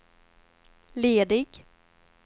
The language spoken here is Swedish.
ledig